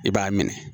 I b'a minɛ